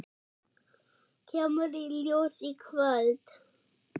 Kemur í ljós í kvöld.